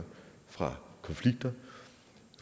fra konflikter